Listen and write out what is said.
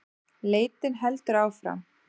Leitin heldur áfram